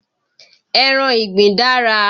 Ẹran ìgbín dára.